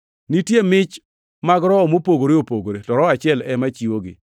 Nitie mich mag Roho mopogore opogore, to Roho achiel ema chiwogi.